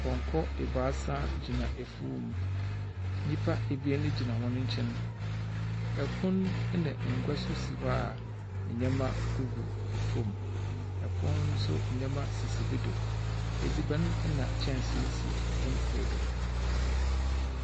Pɔnkɔ ebaasa gyina efuw mu nyimpa abien gyina w'ɔn nkyɛn ɛpon nso ngua so si hɔ a ndzɛma gugu fom epon no nso ndzɛma gugu bi do edziban na nkyɛnsee si ɛpon kor do.